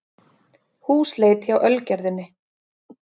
Húsleit hjá Ölgerðinni